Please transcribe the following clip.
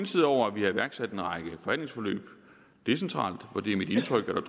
side over at vi har iværksat en række forhandlingsforløb decentralt for det er mit indtryk at